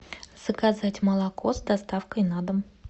заказать молоко с доставкой на дом